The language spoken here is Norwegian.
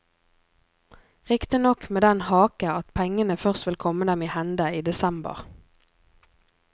Riktignok med den hake at pengene først vil komme dem i hende i desember.